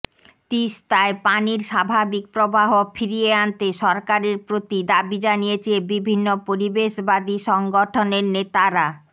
তিস্তায় পানির স্বাভাবিক প্রবাহ ফিরিয়ে আনতে সরকারের প্রতি দাবি জানিয়েছে বিভিন্ন পরিবেশবাদী সংগঠনের নেতারা